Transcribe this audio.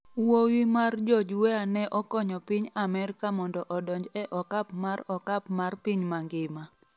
Wuowi mar George Weah ne okonyo piny Amerka mondo odonj e okap mar okap mar piny mangima